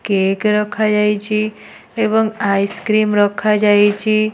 Cake ରଖାଯାଇଚି। ଏବଂ ice cream ରଖାଯାଇଚି।